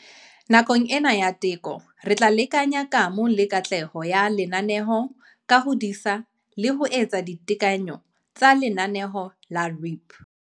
Nakong ena ya teko, re tla lekanya kamo le katleho ya lenaneo ka ho disa le ho etsa ditekanyo tsa lenaneo la REAP.